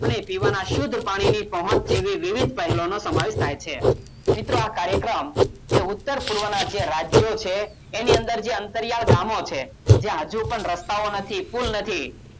અને પીવાના શુદ્ધ પાણીની પહોંચ જેવી વિવિધ પહેલોનો સમાવેશ થાય છે મિત્રો આ કાર્યક્રમ એ ઉત્તર પૂર્વના જે રાજ્યો છે એની અંદર જે અંતરિયાળ ગામો છે જે હજુ પણ રસ્તાઓ નથી પુલ નથી